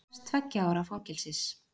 Krefst tveggja ára fangelsis